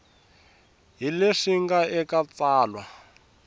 hi leswi nga eka tsalwa